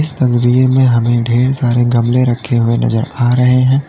इस तस्वीर में हमें ढ़ेर सारे गमले रखें हुये नजर आ रहे हैं।